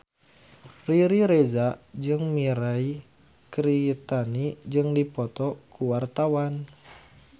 Riri Reza jeung Mirei Kiritani keur dipoto ku wartawan